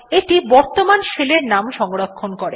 এইটি বর্তমান শেলের নাম সংরক্ষণ করে